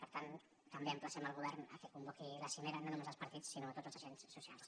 per tant també emplacem el govern perquè convoqui a la cimera no només els partits sinó tots els agents socials